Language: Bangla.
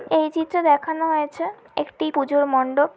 এই চিত্রে দেখানো হয়েছে একটি পুজার মণ্ডপ ।